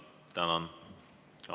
Tänan!